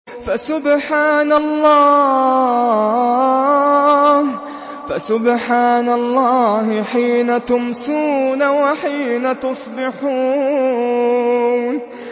فَسُبْحَانَ اللَّهِ حِينَ تُمْسُونَ وَحِينَ تُصْبِحُونَ